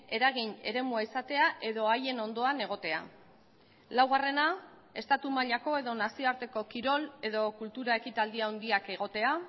eragin eremua izatea edo haien ondoan egotea laugarrena estatu mailako edo nazioarteko kirol edo kultura ekitaldi handiak egotea